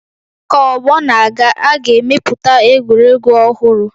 Ka ọgbọ na-aga, a ga-emepụta egwuregwu ọhụrụ